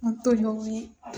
N to ye